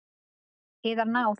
Yðar náð!